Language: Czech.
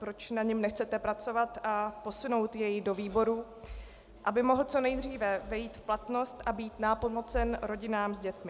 Proč na něm nechcete pracovat a posunout jej do výborů, aby mohl co nejdříve vejít v platnost a být nápomocen rodinám s dětmi?